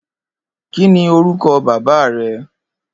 Kini órúkò bàbá rè?